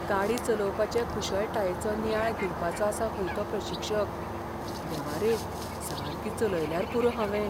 गाडी चलोवपाचे कुशळटायेचो नियाळ घेवपाचो आसा खंय तो प्रशिक्षक. देवा रे, सारकी चलयल्यार पुरो हावें!